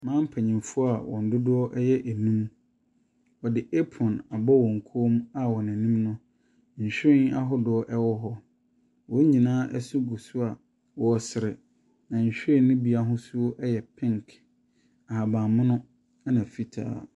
Mmaa mpanyimfoɔ a wɔn dodoɔ yɛ num. Wɔde approne abɔ wɔn mu a wɔn anim no, nhwiren aahodoɔ wɔ hɔ. Wɔ nyinaa se gu so a wɔresere. Nhwiren no bi ahosuo yɛ pink, ahabanmono na fitaa.